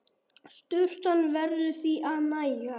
Sturtan verður því að nægja.